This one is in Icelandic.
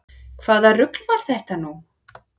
Hvaða rugl var þetta nú?